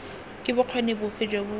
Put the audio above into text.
ke bokgoni bofe jo bo